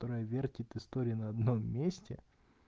проверьте истории на одном месте